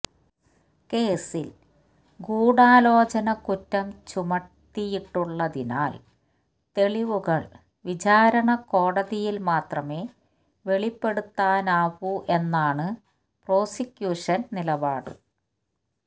കേസിൽ ഗൂഡാലോചനക്കുറ്റം ചുമത്തിയിട്ടുള്ളതിനാൽ തെളിവുകൾ വിചാരണക്കോടതിയിൽ മാത്രമേ വെളിപ്പെടുത്താനാവൂ എന്നാണ് പ്രോ സിക്യൂഷൻ നിലപാട്